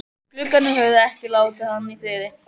Gluggarnir höfðu ekki látið hann í friði.